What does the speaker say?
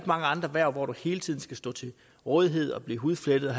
mange andre hverv hvor man hele tiden skal stå til rådighed og blive hudflettet og